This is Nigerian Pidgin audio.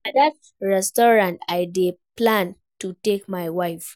Na dat restaurant I dey plan to take my wife